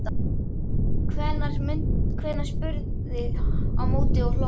Hvenær? spurði hún á móti og hló.